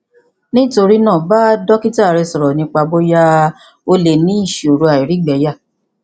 nítorí náà bá dókítà rẹ sọrọ nípa bóyá o lè ní ìṣòro àìrígbẹyà